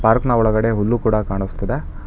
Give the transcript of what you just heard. Park ನ ಒಳಗಡೆ ಹುಲ್ಲು ಕೂಡ ಕಾಣಿಸ್ತಿದೆ.